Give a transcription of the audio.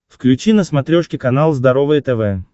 включи на смотрешке канал здоровое тв